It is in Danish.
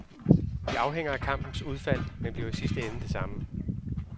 Det afhænger af kampens udfald, men bliver i sidste ende det samme.